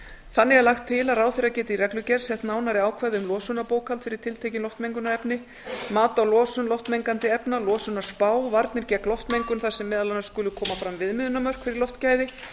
þannig er lagt til að ráðherra geti í reglugerð sett nánari ákvæði um losunarbókhald fyrir tiltekið loftmengunarefni mat á losun loftmengandi efna losunarspá varnir gegn loftmengun þar sem meðal annars skulu koma fram viðmiðunarmörk fyrir loftgæði